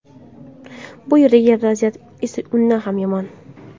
Bu yerdagi vaziyat esa undan ham yomon.